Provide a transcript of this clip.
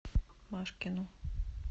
машкину